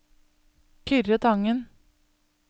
Kyrre Tangen